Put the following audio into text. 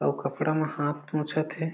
अउ कपड़ा म हाथ पोछत हे।